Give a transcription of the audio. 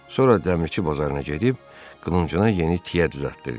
Sonra dəmirçi bazarına gedib, qılıncına yeni tiyə düzəltdirdi.